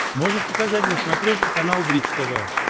можешь показать на смотрешке канал бридж тв